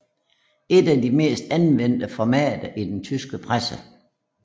Et af de mest anvendte formater i den trykte presse